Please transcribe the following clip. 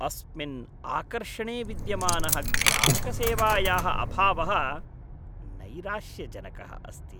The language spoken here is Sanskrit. अस्मिन् आकर्षणे विद्यमानः ग्राहकसेवायाः अभावः नैराश्यजनकः अस्ति।